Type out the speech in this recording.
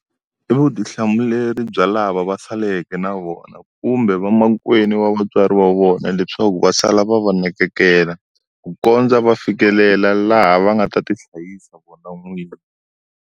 I vutihlamuleri bya lava va saleke na vona kumbe vamakwenu wa vatswari va vona leswaku va sala va nakekela, ku kondza va fikelela laha va nga ta ti hlayisa vona n'winyi.